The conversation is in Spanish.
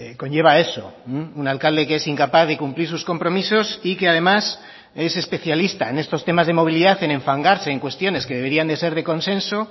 conlleva eso un alcalde que es incapaz de cumplir sus compromisos y que además es especialista en estos temas de movilidad en enfangarse en cuestiones que deberían de ser de consenso